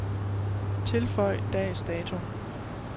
Tilføj dags dato.